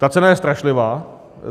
Ta cena je strašlivá.